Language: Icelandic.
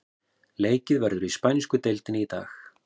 Leikið verður í spænsku deildinni í dag.